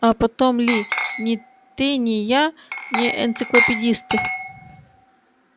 а потом ли ни ты ни я не энциклопедисты